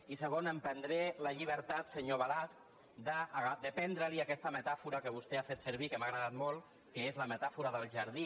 i segona em prendré la llibertat senyor balasch de prendre li aquesta metàfora que vostè ha fet servir que m’ha agradat molt que és la metàfora del jardí